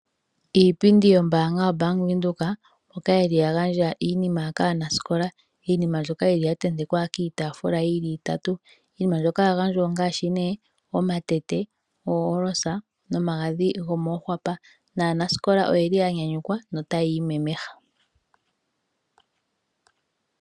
Iipindi yombaanga yo Bank Windhoek ndjoka yili ya gandja iinima kaanasikola . Iinima mbyoka yili ya tentekwa kiitaafula yili itatu. Iinima mbyoka ya gandjwa ongaashi nee omatete, ooyolosa momagadhi gomoohwapa. Naanasikola oyeli ya nyanyukwa notaya imemeha.